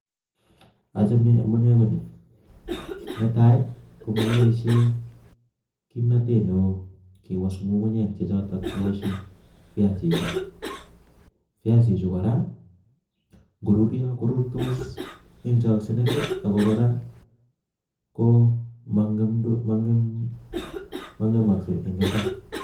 achame amunee ko ni. netai, komakipaishei kimnatet neo kewas ngungunyek chechoto kiwaschin viasichu. viasichu kora ngoruryo korurtos eng chaksinet ako kora mangemaksei eng mbar.